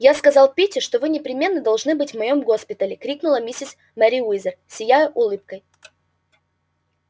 я сказала питти что вы непременно должны быть в моем госпитале крикнула миссис мерриуэзер сияя улыбкой